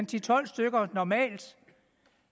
til tolv stykker normalt